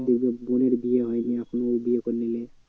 বলবে বোনের বিয়ে হয়নি এখনো ও বিয়ে করে নিলো।